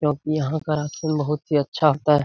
क्योंकि यहाँ का राशन बहुत ही अच्छा होता है।